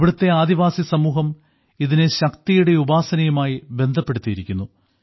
ഇവിടത്തെ ആദിവാസി സമൂഹം ഇതിനെ ശക്തിയുടെ ഉപാസനയുമായി ബന്ധപ്പെടുത്തിയിരിക്കുന്നു